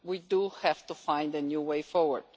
We do have to find a new way forward.